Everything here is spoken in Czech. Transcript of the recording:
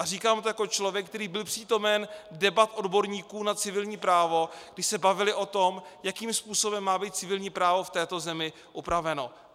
A říkám to jako člověk, který byl přítomen debat odborníků na civilní právo, kdy se bavili o tom, jakým způsobem má být civilní právo v této zemi upraveno.